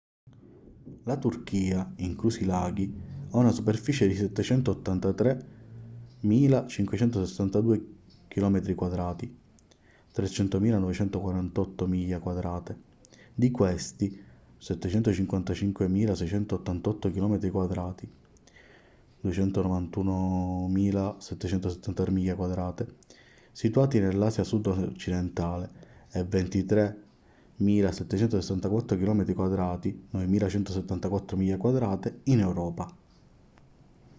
la turchia inclusi i laghi ha una superficie di 783.562 km² 300.948 miglia quadrate: di questi 755.688 km² 291.773 miglia quadrate situati nell'asia sud-occidentale e 23.764 km² 9.174 miglia quadrate in europa